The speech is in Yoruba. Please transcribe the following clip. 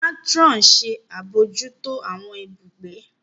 Matron ṣe abojuto awọn ibùgbé.